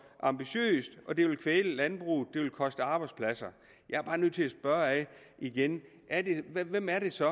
ambitiøst og at det vil kvæle landbruget det vil koste arbejdspladser jeg er bare nødt til at spørge igen hvem er det så